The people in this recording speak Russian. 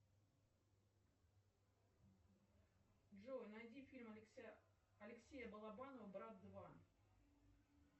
джой найди фильм алексея балабанова брат два